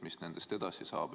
Mis nendest edasi saab?